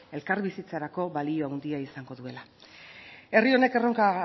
elkarbizitzarako balio handia izango duela herri honek erronka